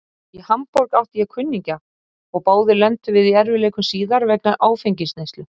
Í Hamborg átti ég kunningja og báðir lentum við í erfiðleikum síðar vegna áfengisneyslu.